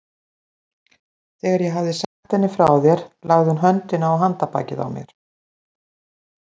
Þegar ég hafði sagt henni frá þér lagði hún höndina á handarbakið á mér.